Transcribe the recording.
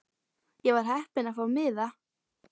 Ég var heppin að fá miða.